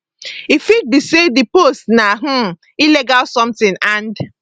e fit be say di post na um illegal something and